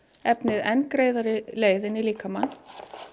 efnið enn greiðari leið inn í líkamann